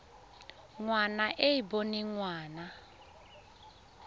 ngwana e e boneng ngwana